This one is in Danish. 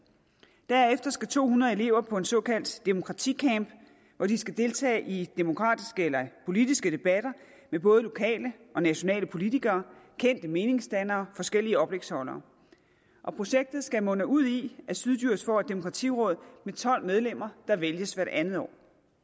derefter skal to hundrede elever på en såkaldt demokraticamp hvor de skal deltage i demokratiske eller politiske debatter med både lokale og nationale politikere kendte meningsdannere forskellige oplægsholdere og projektet skal munde ud i at syddjurs kommune får et demokratiråd med tolv medlemmer der vælges hvert andet år